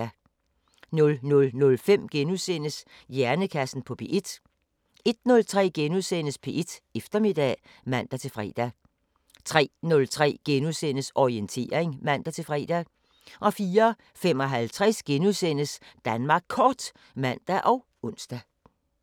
00:05: Hjernekassen på P1 * 01:03: P1 Eftermiddag *(man-fre) 03:03: Orientering *(man-fre) 04:55: Danmark Kort *(man og ons)